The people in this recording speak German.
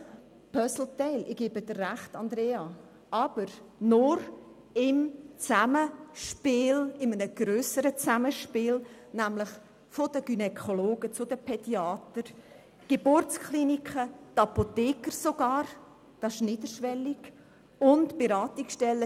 es handelt sich um ein potenzielles Puzzleteil, aber ein Puzzleteil in einem grösseren Zusammenspiel, nämlich im Zusammenspiel der Gynäkologen, Pädiater, Geburtskliniken, sogar der Apotheker und der Beratungsstellen.